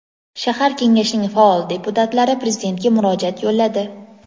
shahar kengashining faol deputatlari prezidentga murojaat yo‘lladi.